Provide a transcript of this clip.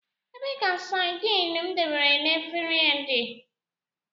Ebee ka sardine m debere na efere dị?